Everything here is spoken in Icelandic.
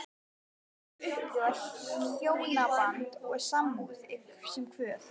Sumir upplifa hjónaband og sambúð sem kvöð.